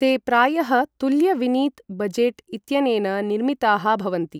ते प्रायः तुल्य विनीत बजेट् इत्यनेन निर्मिताः भवन्ति।